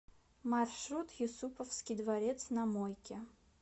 маршрут юсуповский дворец на мойке